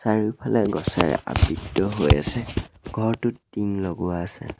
চাৰিওফালে গছেৰে আবৃত হৈ আছে ঘৰটোত টিং লগোৱা আছে।